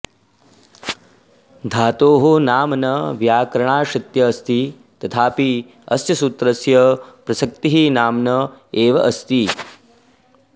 धातोः नाम न व्याकरणाश्रित्य अस्ति तथापि अस्य सूत्रस्य प्रसक्तिः नाम्न एव अस्ति